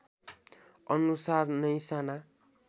अनुसार नै साना